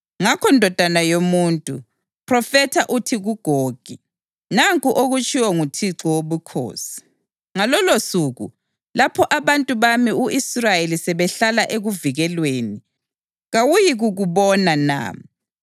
Ngakho, ndodana yomuntu, phrofetha uthi kuGogi: ‘Nanku okutshiwo nguThixo Wobukhosi: Ngalolosuku, lapho abantu bami u-Israyeli sebehlala ekuvikelweni, kawuyikukubona na?